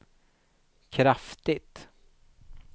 kraftigt